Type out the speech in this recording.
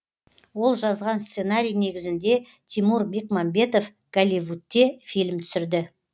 ол жазған сценарий негізінде тимур бекмамбетов голливудте фильм түсірді